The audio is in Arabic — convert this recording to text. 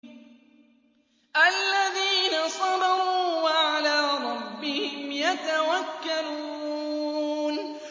الَّذِينَ صَبَرُوا وَعَلَىٰ رَبِّهِمْ يَتَوَكَّلُونَ